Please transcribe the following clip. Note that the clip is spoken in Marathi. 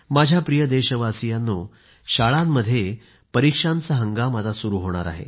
माझ्या प्रिय देशवासियांनो शाळांमध्ये परीक्षांचा हंगाम आता सुरू होणार आहे